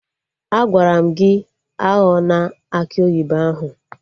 Agwara m gị aghọna akị oyibo ahụ!